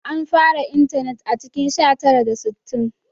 An fara intanet a cikin sha tara da sittin